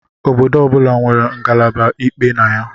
Obodo ọ bụla nwere ngalaba ikpe na ya